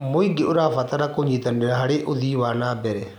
Mũingĩ ũrabatara kũnyitanĩra harĩ ũthii wa na mbere.